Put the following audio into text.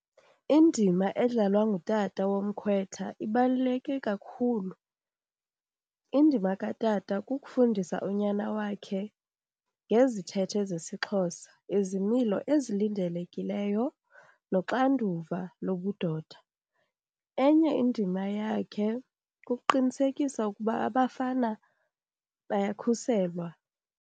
Indima edlalwa ngutata womkhwetha ibaluleke kakhulu. Indima katata kukufundisa unyana wakhe ngezithethe zesiXhosa, izimilo ezilindelekileyo noxanduva lobudoda. Enye indima yakhe kukuqinisekisa ukuba abafana bayakhuselwa.